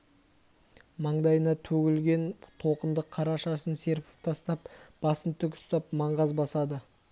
маңдайына төгілген толқынды қара шашын серпіп тастап басын тік ұстап маңғаз басады